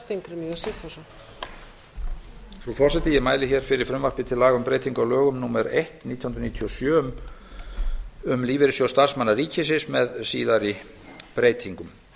virðulegi forseti ég mæli hér fyrir frumvarpi til laga um breytingu á lögum númer eitt nítján hundruð níutíu og sjö um lífeyrissjóð starfsmanna ríkisins með síðari breytingum